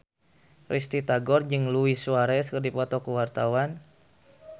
Risty Tagor jeung Luis Suarez keur dipoto ku wartawan